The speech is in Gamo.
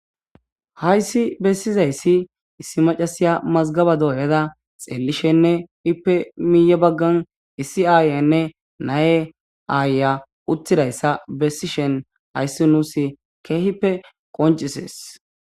Hayssi bessizayssi issi macasiya mazgaba dooyada xeelishenne ipe miiye baggan issi aayenne naye aaya uttidayssa bessishen hayssi nuus keehippe qoncisees.